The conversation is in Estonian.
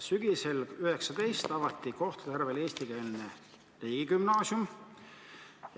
Sügisel 2019 avati Kohtla-Järvel eestikeelne riigigümnaasium.